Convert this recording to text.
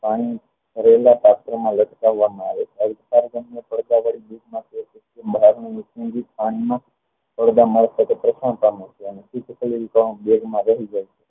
પાણી રહેલા પાત્ર લટકાવવામાં આવે છે બેગમાં રહી જાય